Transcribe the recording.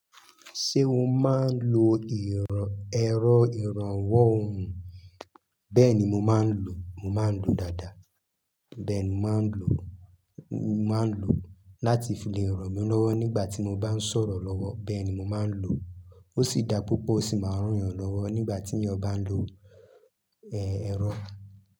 Ṣé o máa ń lo ìrọ̀, ẹ́rọ ìrànwọ́ ohùn? Bẹ́ẹ̀ ni mo máa ń lò, mo máa ń lò dáadáa. Bẹ́ẹ̀ ni mo máa ń lò, mo máa ń lò láti fi le è ràn mí lọ́wọ́ nígbà tí mo bá ń sọ̀rọ̀ lọ́wọ́. Bẹ́ẹ̀ ni mo máa ń lò, o si da púpọ̀ o sí maa n ranyan lọwọ nígbà tí èèyàn bá n lo ero.